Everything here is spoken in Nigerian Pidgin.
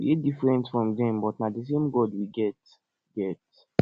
we dey different from dem but na the same god we get get